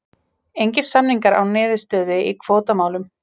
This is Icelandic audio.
Engir samningar án niðurstöðu í kvótamálum